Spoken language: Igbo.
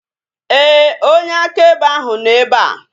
Éè, onye akaebe ahu nọ ebea